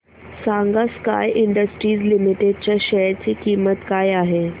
सांगा Sky Industries Limited च्या share ची किंमत काय आहे